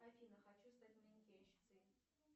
афина хочу стать манекенщицей